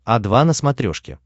о два на смотрешке